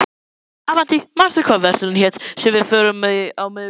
Avantí, manstu hvað verslunin hét sem við fórum í á miðvikudaginn?